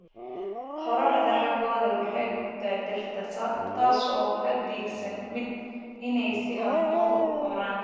Qorraxda xooggani waxay gubtaa dhirta, taasoo ka dhigaysa midhaha inay si habboon u koraan.